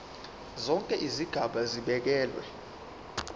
zonke izigaba zibekelwe